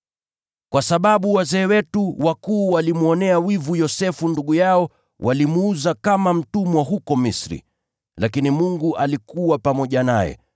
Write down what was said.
“Kwa sababu wazee wetu walimwonea wivu Yosefu ndugu yao, walimuuza kama mtumwa huko Misri. Lakini Mungu alikuwa pamoja naye.